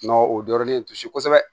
N'o o dɔrɔn de ye kosɛbɛ